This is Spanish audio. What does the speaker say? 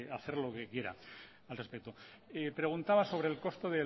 hacer lo que quiera al respecto preguntaba sobre el costo